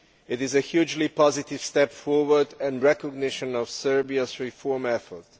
It is a hugely positive step forward and recognition of Serbia's reform effort.